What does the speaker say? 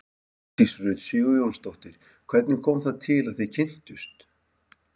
Hjördís Rut Sigurjónsdóttir: Hvernig kom það til að þið kynntust?